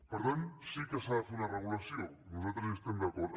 per tant sí que s’ha de fer una regulació nosaltres hi estem d’acord